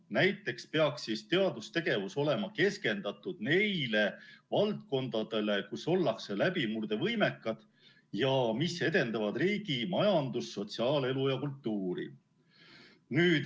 Näiteks peaks teadustegevus olema keskendatud neile valdkondadele, kus ollakse läbimurdevõimekad ja mis edendavad riigi majandust, sotsiaalelu ja kultuuri.